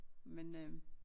men øh